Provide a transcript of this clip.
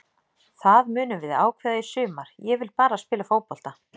Það munum við ákveða í sumar, ég vil bara spila fótbolta.